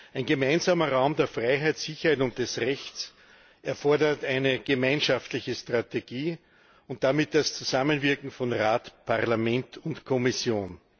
Ein gemeinsamer Raum der Freiheit, der Sicherheit und des Rechts erfordert eine gemeinschaftliche Strategie und damit das Zusammenwirken von Rat, Parlament und Kommission.